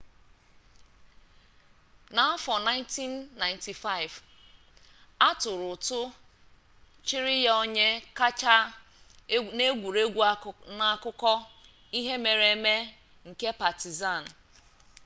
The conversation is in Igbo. n'afọ 1995 a tụrụ ụtụ chiri ya onye kacha n'egwuregwu n'akụkọ ihe mere eme nke patizan